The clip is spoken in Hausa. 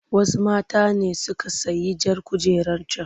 Wasu mata ne suka sayi jar kujerar can.